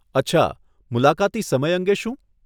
અચ્છા, મુલાકાતી સમય અંગે શું?